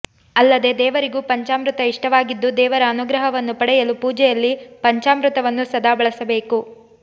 ಅಲ್ಲದೇ ದೇವರಿಗೂ ಪಂಚಾಮೃತ ಇಷ್ಟವಾಗಿದ್ದು ದೇವರ ಅನುಗ್ರಹವನ್ನು ಪಡೆಯಲು ಪೂಜೆಯಲ್ಲಿ ಪಂಚಾಮೃತವನ್ನು ಸದಾ ಬಳಸಬೇಕು